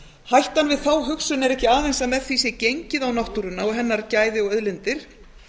hættan við þá hugsun er ekki aðeins að með því sé gengið á náttúruna gæði hennar og auðlindir